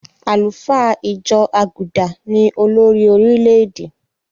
Àlùfáà ìjọ àgùdà ni olórí orílè-èdè.